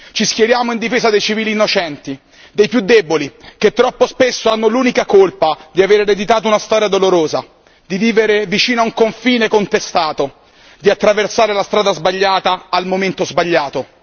Ci schieriamo in difesa dei civili innocenti, dei più deboli che troppo spesso hanno l'unica colpa di avere ereditato una storia dolorosa, di vivere vicino a un confine contestato, di attraversare la strada sbagliata al momento sbagliato.